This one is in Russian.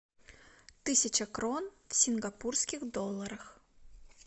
тысяча крон в сингапурских долларах